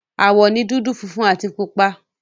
Àwọ̀ ni dúdú, funfun àti pupa.